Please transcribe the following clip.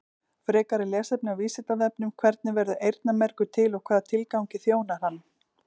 Frekara lesefni á Vísindavefnum: Hvernig verður eyrnamergur til og hvaða tilgangi þjónar hann?